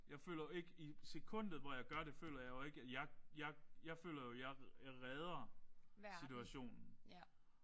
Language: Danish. Jeg føler jo ikke i sekundet hvor jeg gør det føler jeg jo ikke jeg jeg føler at jeg jeg redder situationen